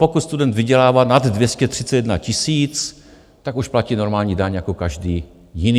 Pokud student vydělává nad 231 000, tak už platí normální daň jako každý jiný.